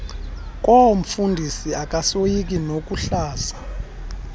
koomfundisi akasoyiki nokuhlaza